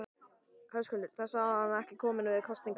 Höskuldur: Þessi, hann er ekki kominn með kosningaaldur?